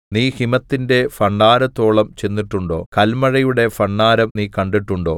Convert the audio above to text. നീ ഹിമത്തിന്റെ ഭണ്ഡാരത്തോളം ചെന്നിട്ടുണ്ടോ കല്മഴയുടെ ഭണ്ഡാരം നീ കണ്ടിട്ടുണ്ടോ